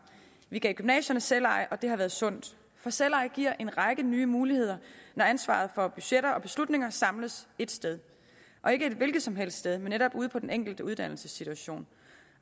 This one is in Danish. vi gav gymnasierne selveje og det har været sundt for selveje giver en række nye muligheder når ansvaret for budgetter og beslutninger samles et sted og ikke et hvilket som helst sted men netop ude på den enkelte uddannelsesinstitution